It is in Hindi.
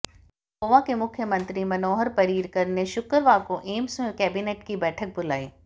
गोवा के मुख्यमंत्री मनोहर पर्रिकर ने शुक्रवार को एम्स में कैबिनेट की बैठक बुलाई